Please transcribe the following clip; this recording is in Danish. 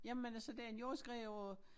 Jamen altså det en jordskred på